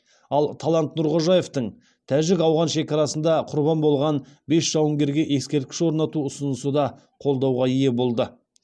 ал талант нұрғожаевтың тәжік ауған шекарасында құрбан болған бес жауынгерге ескерткіш орнату ұсынысы да қолдауға ие болды